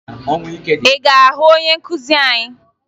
Ị ga-aga hụ onye nkụzi anyị?